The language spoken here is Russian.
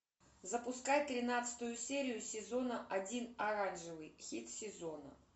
запускай тринадцатую серию сезона один оранжевый хит сезона